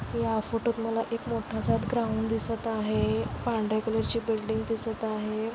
या फोटोत मला एक मोठसा ग्राऊंड दिसत आहे. पांढऱ्या कलरची बिल्डींग दिसत आहे.